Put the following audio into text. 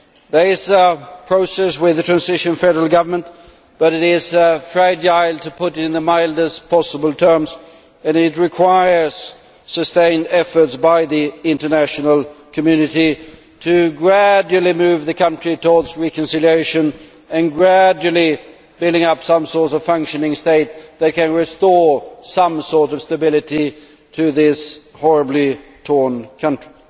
There is a process with the transitional federal government, but it is fragile to put it in the mildest possible terms and it requires sustained efforts by the international community to gradually move the country towards reconciliation and gradually build up some sort of functioning state that can restore some kind of stability to this horribly torn country.